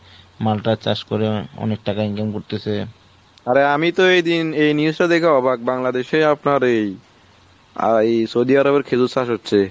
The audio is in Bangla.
মালটা চাষ করে অনেক টাকা income করতেছে। অরে আমি এই দিন এই দেখে অবাক বাংলাদেশে আপনার এই আর এই সৌদি আরবের খেজুর চাষ হচ্ছে।